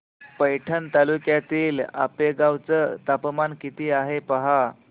पैठण तालुक्यातील आपेगाव चं तापमान किती आहे पहा